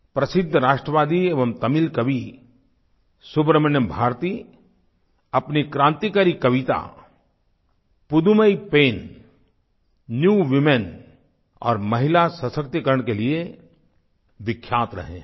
प्रसिद्ध राष्ट्रवादी एवं तमिल कवि सुब्रह्मण्य भारती अपनी क्रांतिकारी कविता पुदुमई पेन्न पुधुमई पेन न्यू वूमेन और महिला सशक्तिकरण के लिए विख्यात रहे हैं